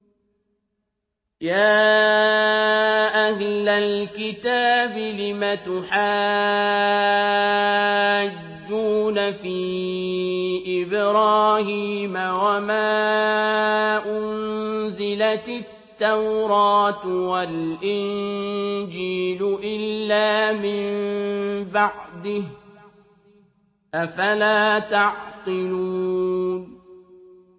يَا أَهْلَ الْكِتَابِ لِمَ تُحَاجُّونَ فِي إِبْرَاهِيمَ وَمَا أُنزِلَتِ التَّوْرَاةُ وَالْإِنجِيلُ إِلَّا مِن بَعْدِهِ ۚ أَفَلَا تَعْقِلُونَ